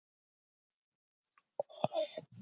Hefur kennt henni að skipuleggja líf þeirra.